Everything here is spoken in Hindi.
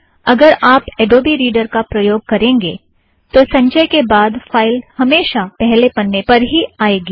अगर आप अड़ोबी रीड़र का प्रयोग करेंगे तो संचय के बाद फ़ाइल हमेशा पहले पन्ने पर ही आएगी